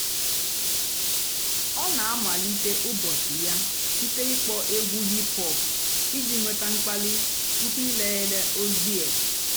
ọ́ nà-àmalíté ụ́bọ̀chị́ yà sìté ị́kpọ́ ègwú hìp-hòp ìjì nwétá m̀kpàlí túpú ị̀léélé ózì-è.